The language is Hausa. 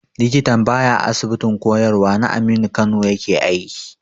Likitan ba ya Asibitin koyarwa na Aminu Kano yake aiki ba.